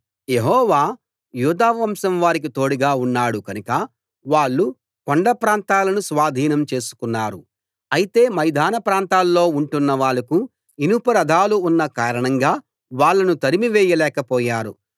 యెహోవా యూదావంశం వారికి తోడుగా ఉన్నాడు కనుక వాళ్ళు కొండ ప్రాంతాలను స్వాధీనం చేసుకున్నారు అయితే మైదాన ప్రాంతాల్లో ఉంటున్నవాళ్లకు ఇనుప రథాలు ఉన్న కారణంగా వాళ్ళను తరిమివేయలేక పోయారు